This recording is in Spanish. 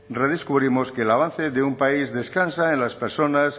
redescubrimos que el avance de un país descansa en las personas